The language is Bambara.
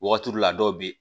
Wagati la dɔw be yen